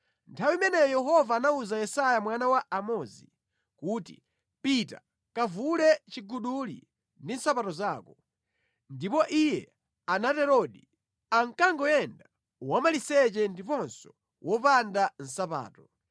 nthawi imeneyo Yehova anawuza Yesaya mwana wa Amozi kuti, “Pita kavule chiguduli ndi nsapato zako.” Ndipo iye anaterodi, ankangoyenda wamaliseche ndiponso wopanda nsapato.